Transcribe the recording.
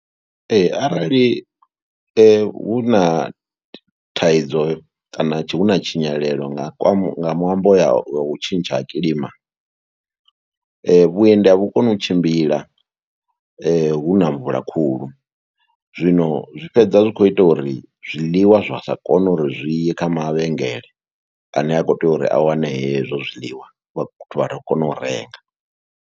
Ee, arali hu na thaidzo kana hu na tshinyalelo nga kwa nga ṅwambo ya u tshintsha ha kilima. Vhuendi a vhu koni u tshimbila hu na mvula khulu. Zwino zwi fhedza zwi khou ita uri zwiḽiwa zwa sa kone uri zwi ye kha mavhengele ane a khou tea uri a wane hezwo zwiḽiwa, u itela uri vhathu vha kone u renga.